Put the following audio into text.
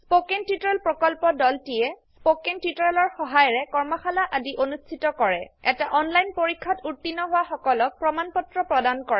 spoken tutorial প্ৰকল্পৰ দলটিয়ে spoken টিওটৰিয়েলৰ সহায়েৰে কৰ্মশালা আদি অনুষ্ঠিত কৰে এটা অনলাইন পৰীক্ষাত উত্তীৰ্ণ হোৱা সকলক প্ৰমাণ পত্ৰ প্ৰদান কৰে